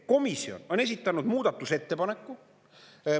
Komisjon on esitanud muudatusettepaneku.